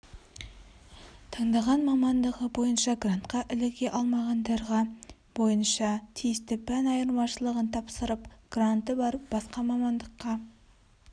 таңдаған мамандығы бойынша грантқа іліге алмағандарға бойынша тиісті пән айырмашылығын тапсырып гранты бар басқа мамандыққа